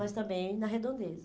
Mas também na Redondeza.